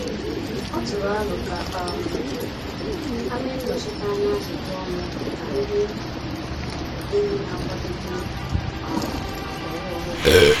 Ọ tụrụ aro ka um ha mee nnọchiteanya ajụjụ ọnụ na ndị enyi na-akwadebe um maka ọrụ ọhụrụ.